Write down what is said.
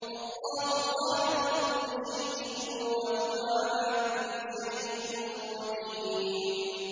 اللَّهُ خَالِقُ كُلِّ شَيْءٍ ۖ وَهُوَ عَلَىٰ كُلِّ شَيْءٍ وَكِيلٌ